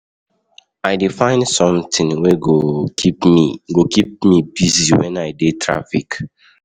I dey find sometin wey go keep me go keep me busy wen I dey traffic.